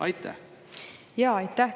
Aitäh!